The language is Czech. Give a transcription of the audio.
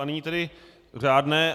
A nyní tedy řádné.